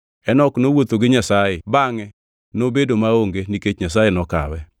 Enok nowuotho gi Nyasaye; bangʼe nobedo maonge, nikech Nyasaye nokawe.